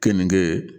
Keninge